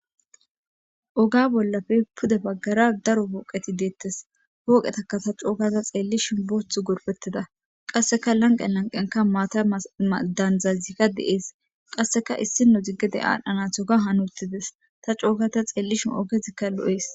Oga bollappe guye baggara darobati detes.poqetaka tani coo gada xelishen qassika laniqen lanqen mathathadanika qassika diza qassika issi nozi demban natugan hani utides.ta co gadda xeelishe tana lo'es